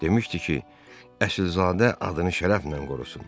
Demişdi ki, əsilzadə adını şərəflə qorusun.